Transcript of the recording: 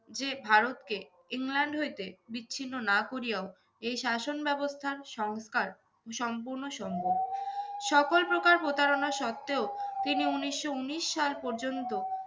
যে ভারতকে ইংল্যান্ড হইতে বিচ্ছিন্ন না করিয়াও এই শাসন ব্যবস্থার সংস্কার সম্পূর্ণ সম্ভব। সকল প্রকার প্রতারণার সত্ত্বেও তিনি উনিশশো উনিশ সাল পর্যন্ত